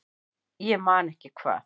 Ég man ekki hvað